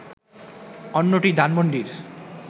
অন্যটি ধানমণ্ডির